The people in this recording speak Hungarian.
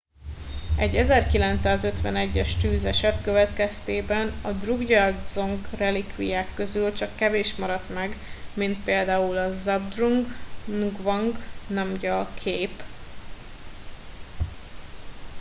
egy 1951 es tűzeset következtében a drukgyal dzong relikviák közül csak kevés maradt meg mint pl a zhabdrung ngawang namgyal kép